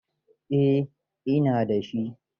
Eh, ina da shi.